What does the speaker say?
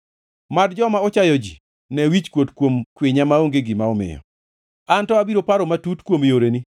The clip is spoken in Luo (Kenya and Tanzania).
Mad joma ochayo ji ne wichkuot kuom kwinya maonge gima omiyo, an to abiro paro matut kuom yoreni.